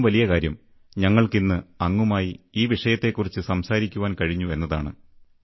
അതിലും വലിയ കാര്യം ഞങ്ങൾക്ക് ഇന്ന് അങ്ങുമായി ഈ വിഷയത്തെക്കുറിച്ച് സംസാരിക്കുവാൻ കഴിഞ്ഞു എന്നതാണ്